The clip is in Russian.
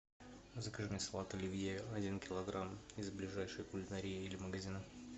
закажи мне салат оливье один килограмм из ближайшей кулинарии или магазина